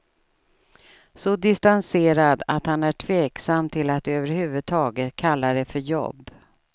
Så distanserad att han är tveksam till att över huvud taget kalla det för jobb.